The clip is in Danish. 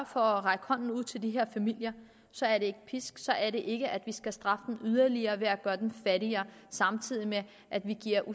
for at række hånden ud til de her familier så er det ikke at piske dem så er det ikke at vi skal straffe dem yderligere ved at gøre dem fattigere samtidig med at vi giver